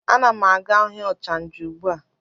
A na m aga ahịa ochanja ugbua.